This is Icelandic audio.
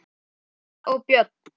Rúnar og Björn.